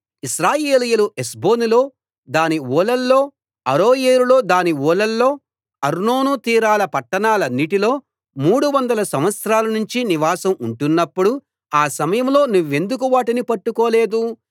ఇశ్రాయేలీయులు హెష్బోనులో దాని ఊళ్లలో అరోయేరులో దాని ఊళ్లలో అర్నోను తీరాల పట్టాణాలన్నిటిలో మూడు వందల సంవత్సరాలనుంచి నివాసం ఉంటున్నప్పుడు ఆ సమయంలో నువ్వెందుకు వాటిని పట్టుకోలేదు